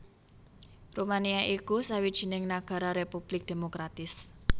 Rumania iku sawijining nagara republik demokratis